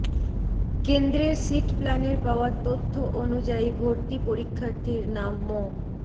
কেন্দ্রের সিট প্ল্যানের পাওয়া তথ্য অনুযায়ী ভর্তি পরীক্ষার্থীর নাম মো